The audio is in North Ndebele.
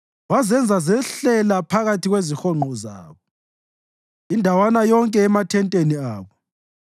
Wazenza zehlela phakathi kwezihonqo zabo, indawana yonke emathenteni abo.